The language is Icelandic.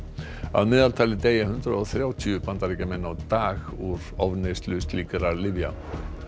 að meðaltali deyja hundrað og þrjátíu Bandaríkjamenn á dag úr ofneyslu slíkra lyfja